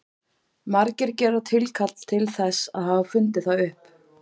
Margir gera tilkall til þess að hafa fundið það upp.